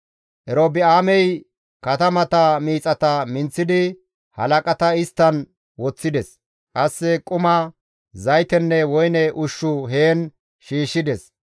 Erobi7aamey katamata miixata minththidi, halaqata isttan woththides; qasse quma, zaytenne woyne ushshu heen shiishshides.